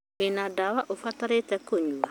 Wina ndawa ũbatarĩte kũnyua?